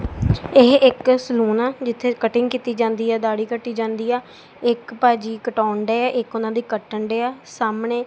ਇਹ ਇੱਕ ਸੈਲੂਨ ਆ ਜਿੱਥੇ ਕੱਟਿੰਗ ਕੀਤੀ ਜਾਂਦੀ ਯਾ ਦਾਢੀ ਕੱਟੀ ਜਾਂਦੀ ਆ ਇੱਕ ਪਾ ਜੀ ਕਟਾਉਣ ਡਏ ਆ ਇੱਕ ਉਹਨਾ ਦੀ ਕੱਟਣ ਡਏ ਆ ਸਾਹਮਣੇ।